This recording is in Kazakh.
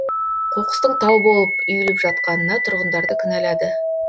қоқыстың тау боп үйіліп жатқанына тұрғындарды кінәлады